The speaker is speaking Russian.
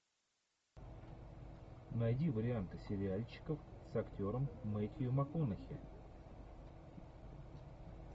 найди варианты сериальчиков с актером мэттью макконахи